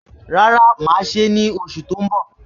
Rárá, mà á ṣe é ní oṣù tó ń bọ̀